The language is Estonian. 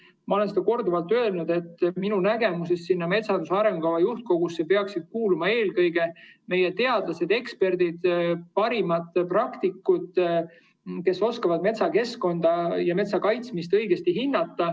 Ma olen korduvalt öelnud, et minu nägemuse järgi peaksid metsanduse arengukava juhtkogusse kuuluma eelkõige meie teadlased, eksperdid, parimad praktikud, kes oskavad metsakeskkonda ja metsa kaitsmist õigesti hinnata.